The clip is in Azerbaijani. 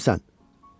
Bəs sən kimsən?